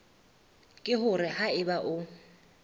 ke hore ha eba o